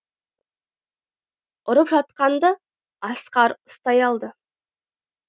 ұрып жатқанды асқар ұстай алды